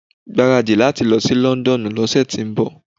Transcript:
Gbaradi láti lọ sí Londonu ló ṣẹ tó ń bọ̀.